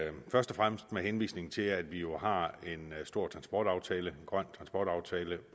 er først og fremmest med henvisning til at vi jo har en stor transportaftale en grøn transportaftale